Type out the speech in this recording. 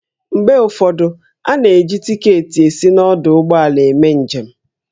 Mgbe ụfọdụ, a na-eji tiketi esi n'ọdụ ụgbọala eme njem